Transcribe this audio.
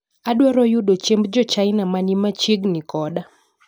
Adwaro yudo chiemb jochina mani machiegni koda